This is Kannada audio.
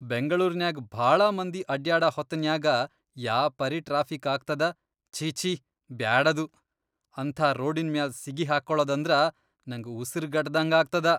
ಬೆಂಗ್ಳೂರ್ನ್ಯಾಗ್ ಭಾಳ ಮಂದಿ ಅಡ್ಯಾಡ ಹೊತ್ತನ್ಯಾಗ ಯಾಪರಿ ಟ್ರಾಫಿಕ್ ಆಗ್ತದ ಛೀ, ಛೀ, ಬ್ಯಾಡದು. ಅಂಥಾ ರೋಡಿನ್ ಮ್ಯಾಲ್ ಸಿಗಿಹಾಕ್ಕೋಳದಂದ್ರ ನಂಗ್ ಉಸರ್ಗಟ್ಟದ್ಹಂಗ ಆಗ್ತದ.